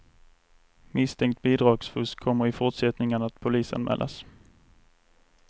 Misstänkt bidragsfusk kommer i fortsättningen att polisanmälas.